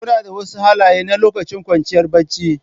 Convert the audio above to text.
Kuna da wasu halaye na lokacin kwanciya barci?